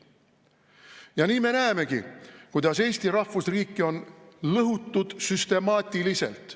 Ja nii me näemegi, kuidas Eesti rahvusriiki on lõhutud süstemaatiliselt.